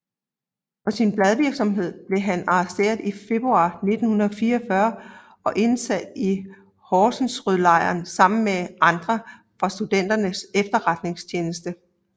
For sin bladvirksomhed blev han arresteret i februar 1944 og indsat i Horserødlejren sammen med andre fra Studenternes Efterretningstjeneste